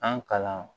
An kalan